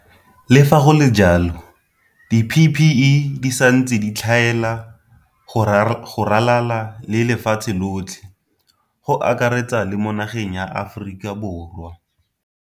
Le fa go le jalo, di-PPE di santse di tlhaela go ralala le lefatshe lotlhe, go akaretsa le mo nageng ya Aforika Borwa.